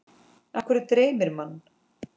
Af hverju dreymir mann?